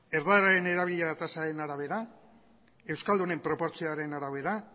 erdararen erabileraren tasaren arabera euskaldunen proportzioaren arabera